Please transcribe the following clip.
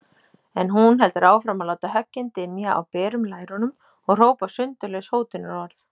En hún heldur áfram að láta höggin dynja á berum lærunum og hrópa sundurlaus hótunarorð.